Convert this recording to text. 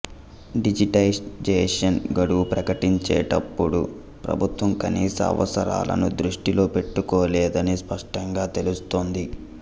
digitisation గడువు ప్రకటించేటప్పుడు ప్రభుత్వం కనీస అవసరాలను దృష్టిలో పెట్టుకోలేదని స్పష్టంగా తెలుస్తోంది